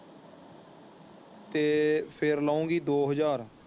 ਤੇ ਫੇਰ ਲਊਗੀ ਦੋ ਹਾਜਰ।